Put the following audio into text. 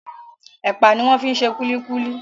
Ẹpa ni wọ́n fi ṣe kúlíkúlí.